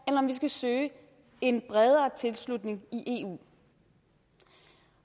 vi skal søge en bredere tilslutning i eu